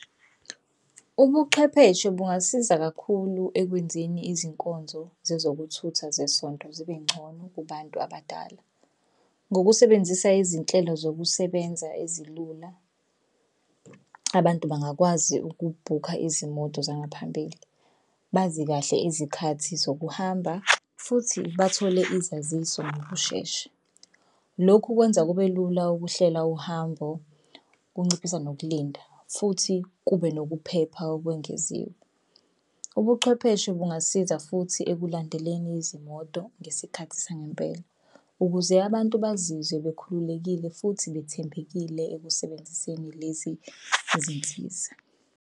Ubuchwepheshe bungasiza kakhulu ekwenzeni izinkonzo zezokuthutha zesonto zibe ngcono kubantu abadala. Ngokusebenzisa izinhlelo zokusebenza ezilula abantu bangakwazi ukubhukha izimoto zangaphambili. Bazi kahle izikhathi zokuhamba futhi bathole izaziso ngokushesha. Lokhu kwenza kube lula ukuhlela uhambo kunciphisa nokulinda futhi kube nokuphepha okwengeziwe. Ubuchwepheshe bungasiza futhi ekulandeleni izimoto ngesikhathi sangempela, ukuze abantu bazizwe bekhululekile futhi bethembekile ekusebenziseni lezi zinsiza.